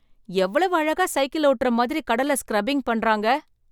எவ்வளவு அழகா சைக்கிள் ஓட்டுற மாதிரி கடல்ல ஸ்க்ரபிங் பண்றாங்க!